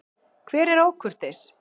Hver er ókurteis?